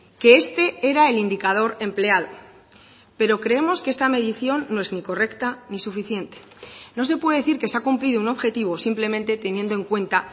que este era el indicador empleado pero creemos que esta medición no es ni correcta ni suficiente no se puede decir que se ha cumplido un objetivo simplemente teniendo en cuenta